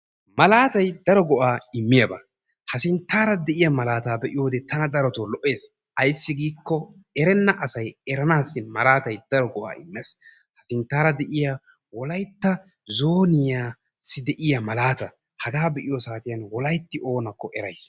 Malaatayi daro go"aa immiyaaba. Ha sinttaara de"iya malaata be"iyoode tana daroto lo"ees. Ayissi giikko erenna asay eranaassi malaatay daro go"aa immes. Sinttaara de"iya wolayitta zooniyassi de"iyaa malaata. Hagaa be"iyoo saatiyan wolayitti oonakko erayis.